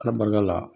Ala barika la